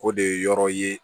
O de ye yɔrɔ ye